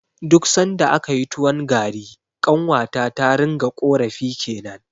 Duk sanda akayi tuwon gari, ƙanwata ta ringa ƙorafi kenan.